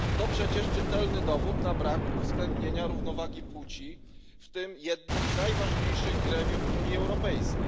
Przecież to czytelny dowód na brak uwzględnienia równowagi płci w tym jednym z najważniejszych gremiów Unii Europejskiej.